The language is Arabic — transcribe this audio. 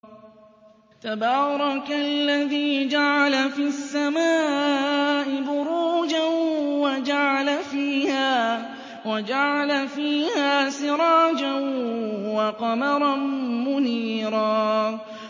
تَبَارَكَ الَّذِي جَعَلَ فِي السَّمَاءِ بُرُوجًا وَجَعَلَ فِيهَا سِرَاجًا وَقَمَرًا مُّنِيرًا